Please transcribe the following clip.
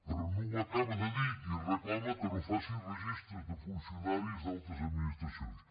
però no ho acaba de dir i reclama que no faci registres de funcionaris d’altres administracions